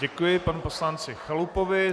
Děkuji panu poslanci Chalupovi.